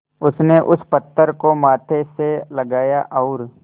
उसने उस पत्थर को माथे से लगाया और